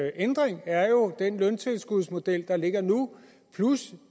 ændring er jo den løntilskudsmodel der ligger nu plus